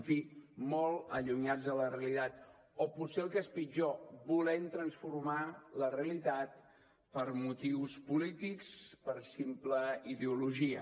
en fi molt allunyats de la realitat o potser el que és pitjor volent transformar la realitat per motius polítics per simple ideologia